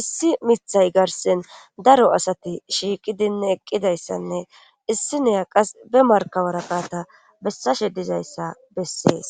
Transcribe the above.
issi mithay garsen daro asati shiiqidinne eqqidayssanne issineya qas be marka waraqata bessashe dizayssa bessees